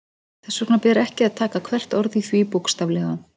Þess vegna ber ekki að taka hvert orð í því bókstaflega.